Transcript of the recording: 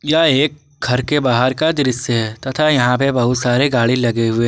यह एक घर के बाहर का दृश्य है तथा यहां पे बहुत सारे गाड़ी लगे हुए--